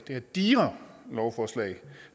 her digre lovforslag